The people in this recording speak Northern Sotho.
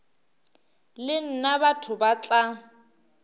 le nna batho ba tla